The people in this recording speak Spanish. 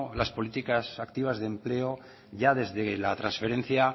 las políticas activas de empleo ya desde la transferencia